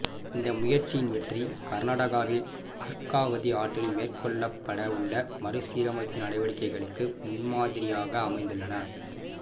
இந்த முயற்சியின் வெற்றி கர்நாடகாவில் அர்காவதி ஆற்றில் மேற்கொள்ளப்பட உள்ள மறுசீரமைப்பு நடவடிக்கைகளுக்கு முன்மாதிரியாக அமைந்துள்ளன